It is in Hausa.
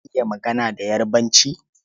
Ka iya magana da Yarbanci?